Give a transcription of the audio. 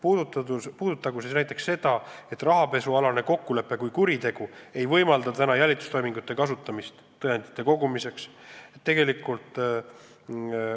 Näiteks praegu ei saa rahapesualase kokkuleppe kui kuriteo puhul kasutada tõendite kogumiseks jälitamistoiminguid.